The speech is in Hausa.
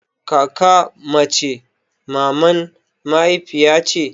Kaka mace maman mahaifiya ce